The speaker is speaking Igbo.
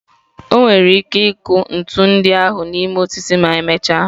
O nwere ike ịkụ ntu ndị ahụ n'ime osisi ma emechaa.